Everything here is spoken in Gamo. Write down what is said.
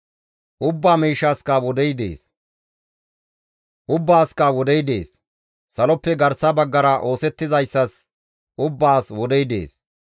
Ubbaasikka wodey dees; saloppe garsa baggara oosettizayssas ubbaas wodey dees.